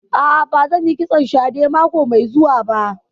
A'a, ba zan yi kitson shadè mako mai zuwa ba